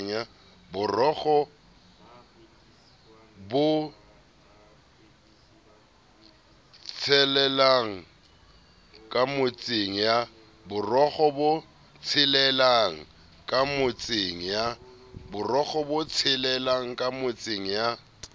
borokgo bo tshelelang kamotseng ya